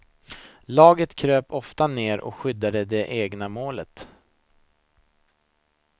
Laget kröp oftast ner och skyddade det egna målet.